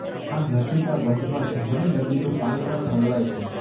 આ નદીના બંધમાં જમરી નદીનું પાણી પણ ઠલવાય છે